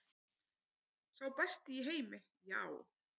Sá besti í heimi, já.